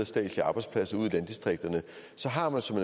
statslige arbejdspladser ud i landdistrikterne har man som